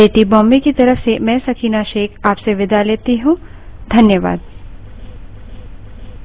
यह script देवेन्द्र कैरवान द्वारा अनुवादित है तथा आई आई टी बॉम्बे की तरफ से मैं सकीना अब आप से विदा लेती हूँ